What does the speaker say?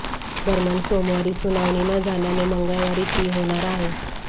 दरम्यान सोमवारी सुनावणी न झाल्याने मंगळवारी ती होणार आहे